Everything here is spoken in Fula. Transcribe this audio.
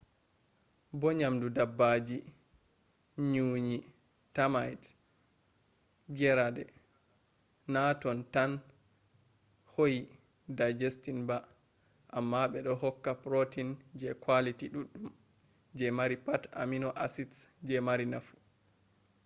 bo nyamdu dabbaji nyunyi termite gerade na tan do hoyi digesting bah amma bedo hokka protein je quality duddum je mari pat amino acids je mari nafu